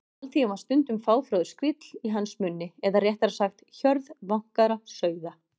Alþýðan var stundum fáfróður skríll í hans munni eða réttara sagt: hjörð vankaðra sauða.